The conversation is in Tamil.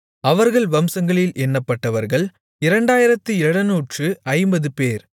அவர்கள் வம்சங்களில் எண்ணப்பட்டவர்கள் 2750 பேர்